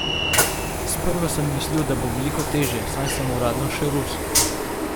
Sprva sem mislil, da bo veliko težje, saj sem uradno še Rus.